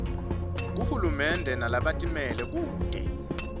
kuhulumende nalabatimele kute